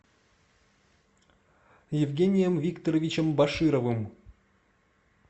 евгением викторовичем башировым